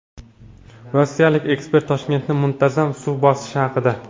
Rossiyalik ekspert Toshkentni muntazam suv bosishi haqida.